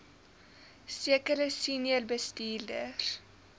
sekere senior bestuurders